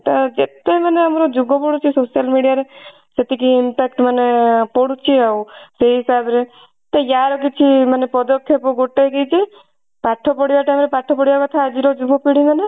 ତ ଯେତେ ମାନେ ଆମର ଯୁଗ ବଢୁଛି ମାନେ social media ରେ ସେତିକି impact ମାନେ ପଡୁଛି ଆଉ ସେଇ ହିସାବ ରେ ତ ୟାର କିଛି ମାନେ ପଦକ୍ଷେପ ଗୋଟେ ହଉଛି ପାଠ ପଢିବା time ରେ ପାଠ ପଢିବା କଥା ଆଜି ର ଯୁବ ପିଢୀ ମାନେ